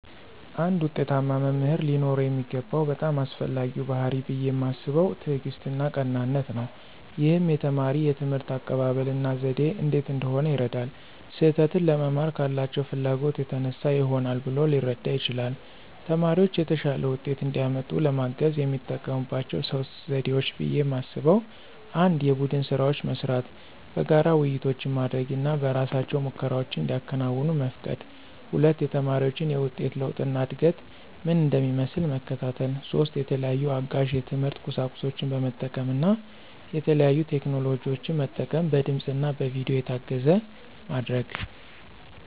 አንድ ዉጤታማ መምህር ሊኖረው የሚገባው በጣም አስፈላጊው ባሕርይ ብየ ማስበው ትዕግስትና ቀናነት ነው። ይህም የተማሪ የትምህርት አቀባበል እና ዘዴ እንዴት እንደሆነ ይረዳል። ስህተትን ለመማር ካላቸው ፍላጎት የተነሳ ይሆናል ብሎ ሊረዳ ይችላል። ተማሪዎች የተሻለ ውጤት እንዲያመጡ ለማገዝ የሚጠቀሙባቸው 3 ዘዴዎች ብየ ማስበው 1=የቡድን ስራዎች መስራት፣ በጋራ ውይይቶች ማድረግ እና በእራሳቸው ሙከራዎችን እንዲያከናውኑ መፍቀድ 2=የተማሪዎችን የውጤት ለውጥ እና እድገት ምን እንደሚመስል መከታተል። 3=የተለያዩ አጋዥ የትምህርት ቁሳቁሶችን በመጠቀም እና የተለያዩ ቴክኖሎጂን መጠቀም በድምፅ እና በቪዲዮ የታገዘ ማድረግ።